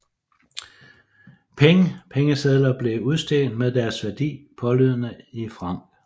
Peng Pengesedler blev udstedt med deres værdi pålydende i francs